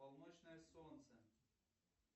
полночное солнце